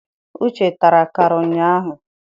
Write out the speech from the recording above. Uche tara akara ụnyaahụ.